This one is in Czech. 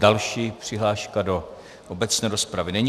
Další přihláška do obecné rozpravy není.